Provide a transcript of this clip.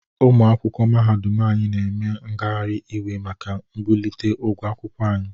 Ụmụ akwụkwọ mahadum anyị na eme ngagharị iwe maka mbulite ụgwọ akwụkwọ anyi.